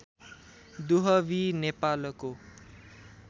दुहवी नेपालको